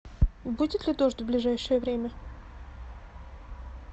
будет ли дождь в ближайшее время